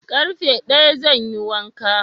Ƙarfe daya zan yi wanka